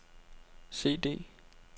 CD